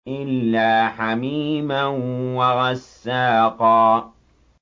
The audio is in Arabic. إِلَّا حَمِيمًا وَغَسَّاقًا